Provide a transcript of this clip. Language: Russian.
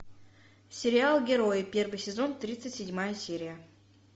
сериал герои первый сезон тридцать седьмая серия